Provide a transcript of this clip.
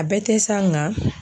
A bɛɛ tɛ sa nga.